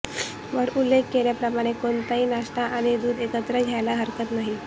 वर उल्लेख केल्याप्रमाणे कोणताही नाश्ता आणि दूध एकत्र घ्यायला हरकत नाही